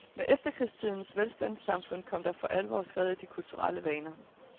Med efterkrigstidens velstandssamfund kom der for alvor skred i de kulturelle vaner.